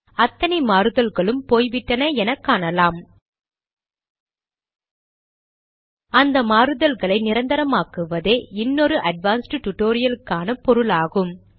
அத்தனை மாறுதல்களும் போய்விட்டன என காணலாம் இந்த மாறுதல்களை நிரந்தரமாக்குவதே இன்னொரு அட்வான்ஸ்ட் டுடோரியலுக்கான பொருளாகும்